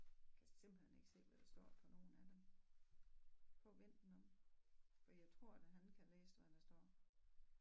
Kan simpelthen ikke se hvad der står på nogen af dem prøv at vend den om for jeg tror da han kan læse hvad der står